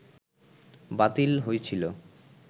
বাতিল হইছিল